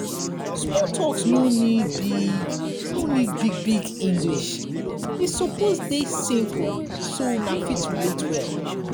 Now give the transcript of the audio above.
small talks no need big no need big big english e suppose de simple so una fit relate well